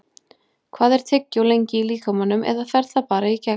Hvað er tyggjó lengi í líkamanum eða fer það bara í gegn?